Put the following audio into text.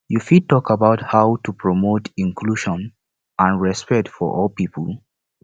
you fit talk about how to promote inclusion and respect for all people